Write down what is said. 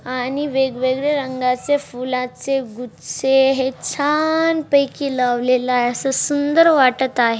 आणि वेगवेगळे रंगाचे फुलांचे गुच्छे हे छानपैकी लावलेले आहे अस सुंदर वाटत आहे.